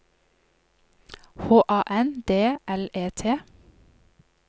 H A N D L E T